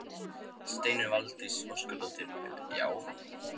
Steinunn Valdís Óskarsdóttir: Já?